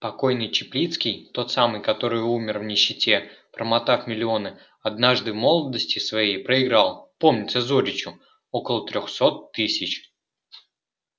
покойный чаплицкий тот самый который умер в нищете промотав миллионы однажды в молодости своей проиграл помнится зоричу около трёхсот тысяч